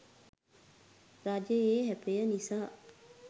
රජයේ ඇපය නිසා